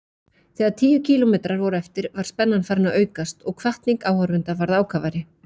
Þegar tíu kílómetrar voru eftir var spennan farin að aukast og hvatning áhorfenda varð ákafari.